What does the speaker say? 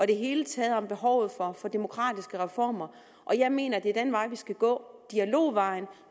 det hele taget om behovet for demokratiske reformer jeg mener det er den vej vi skal gå dialogvejen